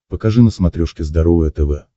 покажи на смотрешке здоровое тв